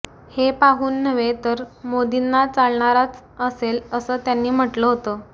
हे पाहून नव्हे तर मोदींना चालणाराच असेल असं त्यांनी म्हटलं होतं